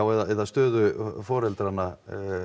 eða stöðu foreldranna